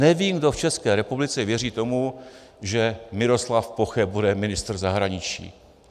Nevím, kdo v České republice věří tomu, že Miroslav Poche bude ministr zahraničí.